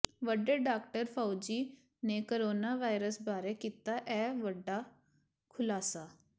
ਵਡੇ doctor Fauci ਨੇ corona virus ਬਾਰੇ ਕੀਤਾ ਇਹ ਵੱਡਾ ਖੁਲਾਸਾ